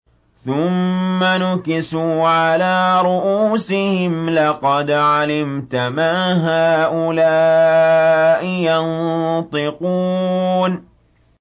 ثُمَّ نُكِسُوا عَلَىٰ رُءُوسِهِمْ لَقَدْ عَلِمْتَ مَا هَٰؤُلَاءِ يَنطِقُونَ